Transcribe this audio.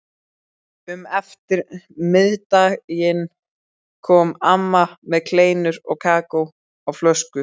Um eftirmiðdaginn kom amma með kleinur og kakó á flösku.